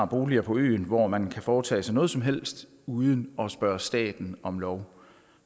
boliger på øerne hvor man kan foretage sig noget som helst uden at spørge staten om lov